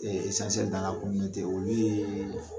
Ee esansiyɛli dan la kominote daga kun tɛ olu yeee